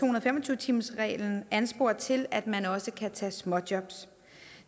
og fem og tyve timersreglen anspores til at man også kan tage småjobs